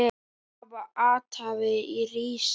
Þau hafa athvarf í risinu.